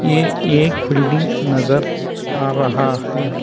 ये एक बिल्डिंग नजर आ रहा है।